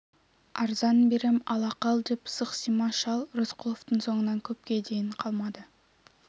арзан берем ала қал деп сықсима шал рысқұловтың соңынан көпке дейін қалмады